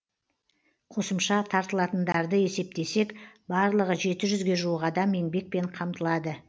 қосымша тартылатындарды есептесек барлығы жеті жүзге жуық адам еңбекпен қамтылады